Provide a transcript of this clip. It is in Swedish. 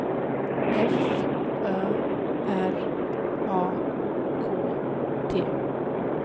F Ö R A K T